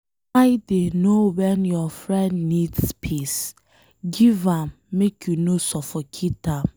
Try dey know wen your friend need space, give am make you no suffocate am.